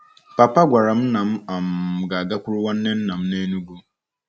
Papa gwara m na m um ga-agakwuru nwanne nna m n'Enugwu.